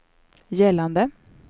gällande